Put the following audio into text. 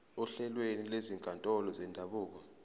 ohlelweni lwezinkantolo zendabuko